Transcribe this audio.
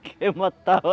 Porque matava